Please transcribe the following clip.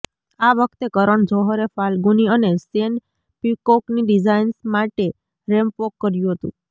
આ વખતે કરણ જોહરે ફાલગુની અને શેન પિકોકની ડિઝાઈન્સ માટે રેમ્પ વોક કર્યુ હતુ